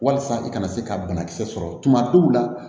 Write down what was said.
Walasa i kana se ka banakisɛ sɔrɔ tuma dɔw la